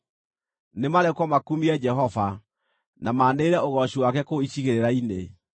Nĩmarekwo makumie Jehova, na maanĩrĩre ũgooci wake kũu icigĩrĩra-inĩ.